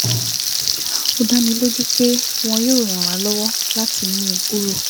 Ó dá mi lójú pé wọn yóò ràn wá lọ́wọ́ láti mú un kúrò